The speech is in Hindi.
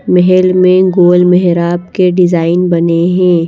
महल में गोल मेहराब के डिज़ाइन बने हैं।